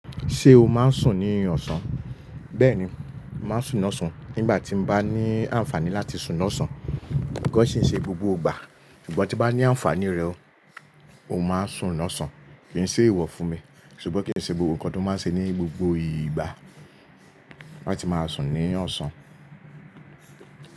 Ṣé o máa ń sùn ní ọ̀sán? Bẹ́ẹ̀ni, mo màá sùn lọ́sàn-án nígbà tí mo bá ní àǹfààní láti sùn lọ́sán. Kò ṣe é ṣe gbogbo ìgbà, ṣùgbọ́n tí bá ní àǹfààní rẹ̀ o, mo máa ń sùn lọ́sán. Kì í ṣe ewọ fún mi, ṣùgbọ́n kì í ṣe gbogbo nǹkan tó máa ń ṣe ní gbogbo ìgbà láti máa sùn ní ọ̀sán.